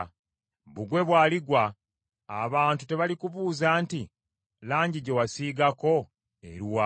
Bbugwe bw’aligwa, abantu tebalikubuuza nti, “Langi gye wasiigako eruwa?”